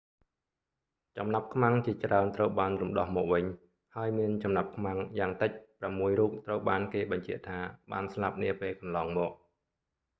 ចំណាប់ខ្មាំងជាច្រើនត្រូវបានរំដោះមកវិញ ហើយមានចំណាប់ខ្មាំងយ៉ាងតិចប្រាំមួយរូបត្រូវបានគេបញ្ជាក់ថាបានស្លាប់នាពេលកន្លងមក